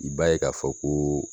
I b'a ye k'a fɔ koo